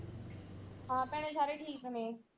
ਹਾਂ ਭੈਣੇ ਸਾਰੇ ਠੀਕ ਨੇ।